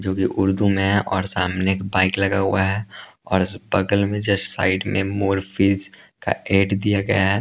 जो कि उर्दू में हैं और सामने एक बाइक लगा हुआ हैं और बगल में जस्ट साइड में मोर फीज का एड दिया गया हैं।